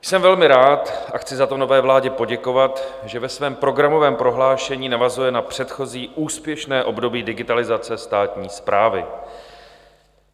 Jsem velmi rád a chci za to nové vládě poděkovat, že ve svém programovém prohlášení navazuje na předchozí úspěšné období digitalizace státní správy.